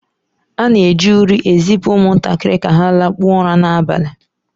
A na-eji uri ezipụ ụmụntakịrị ka ha lakpuo ụra n'abalị